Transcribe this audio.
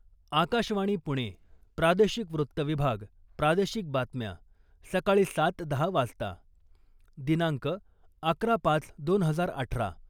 आकाशवाणी पुणे प्रादेशिक वृत्त विभाग प्रादेशिक बातम्या सकाळी सात दहा वाजता. दिनांक अकरा पाच दोन हजार अठरा